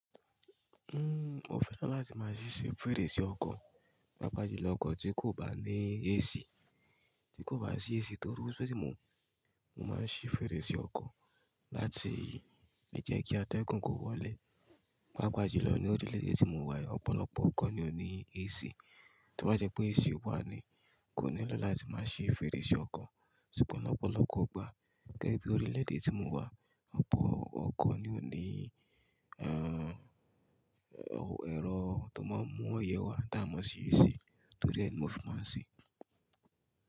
Uhm, mo fẹ́ràn láti máa ṣí ṣe fèrèsé ọkọ̀, paapaa julọ ọkọ̀ tí kò bá ní AC, tí kò bá sí AC toru si mu, mo máa ń ṣí fèrèsé ọkọ̀ láti jẹ́ kí atẹ́gùn kó wọlé. Paapaa julọ ní orílẹ̀-èdè tí mo wà yi ọ̀pọ̀lọpọ̀ ọkọ̀ ni ó ní AC. Tí, tobá jẹ́ pé AC wà ni kò nílọ́ láti máa ṣí fèrèsé ọkọ̀. Ṣùgbọ́n ọ̀pọ̀lọpọ̀ ọpọ̀ gbà, gẹ́gẹ́ bí orílẹ̀-èdè tí mo wà, ọ̀pọ̀ ọkọ̀ ni ó ní, aah, ẹ̀rọ tó máa ń mú òyẹ wá tá a mọ ṣí AC torí ẹ́ ni mo fi máa sí.